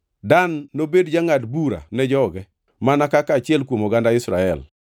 “Dan nobed jangʼad bura ne joge mana kaka achiel kuom oganda Israel.